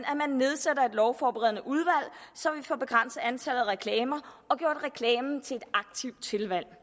lovforberedende udvalg så vi får begrænset antallet af reklamer og gjort reklamen til et aktivt tilvalg